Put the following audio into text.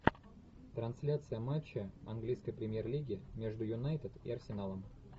трансляция матча английской премьер лиги между юнайтед и арсеналом